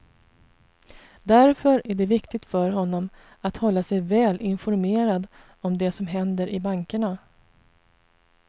Därför är det viktigt för honom att hålla sig väl informerad om det som händer i bankerna.